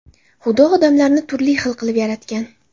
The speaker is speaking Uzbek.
Xudo odamlarni turli xil qilib yaratgan.